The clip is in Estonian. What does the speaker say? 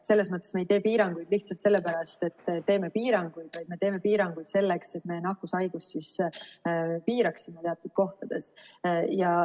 Me ei tee piiranguid lihtsalt sellepärast, et teeme piiranguid, vaid me teeme piiranguid selleks, et me nakkushaigust piiraksime teatud kohtades.